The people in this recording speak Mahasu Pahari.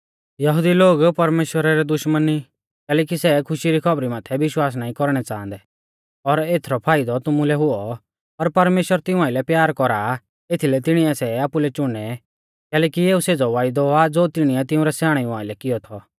यहुदी लोग परमेश्‍वरा रै दुश्मन ई कैलैकि सै खुशी री खौबरी माथै विश्वास नाईं कौरणै च़ांहदै और एथरौ फाइदौ तुमुलै हुऔ पर परमेश्‍वर तिऊं आइलै प्यार कौरा आ एथीलै तिणिऐ सै आपुलै च़ुनै कैलैकि एऊ सेज़ौ वायदौ आ ज़ो तिणीऐ तिउंरै स्याणेऊ आइलै कियौ थौ